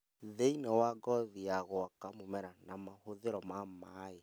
thĩinĩ wa ngothi ya gwaka mũmera na mahũthĩro ma maĩ